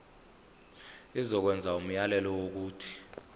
izokwenza umyalelo wokuthi